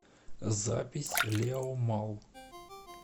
запись леомалл